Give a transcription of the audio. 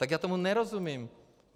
Tak já tomu nerozumím.